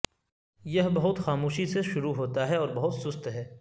یہ بہت خاموشی سے شروع ہوتا ہے اور بہت سست ہے